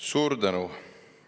Suur tänu!